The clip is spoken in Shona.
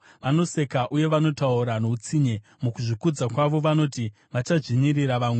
Vanoseka, uye vanotaura noutsinye mukuzvikudza kwavo, vanoti vachadzvinyirira vamwe.